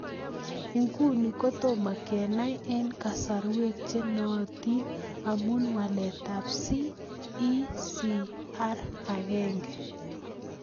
Ng'uni kotomo kenai eng' kaasarwek che nootin amu walet ab CECR1